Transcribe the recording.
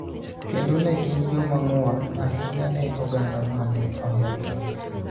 kendo ne gin joma ng�won ahinya ne oganda ma ne ohero siasa